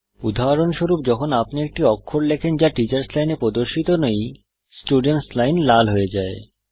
উদাহরণস্বরূপ যখন আপনি একটি অক্ষর লেখেন যা টিচার্স লাইনে প্রদর্শিত নেই স্টুডেন্টস লাইন লাল হয়ে যায়